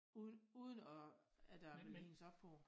Uden uden at at jeg vil hænges på på det